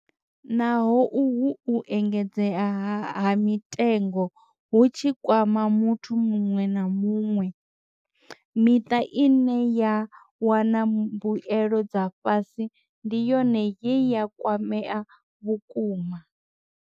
Naho uhu u engedzea ha mitengo hu tshi kwama muthu muṅwe na muṅwe, miṱa ine ya wana mbuelo dza fhasi ndi yone ye ya kwamea vhukuma.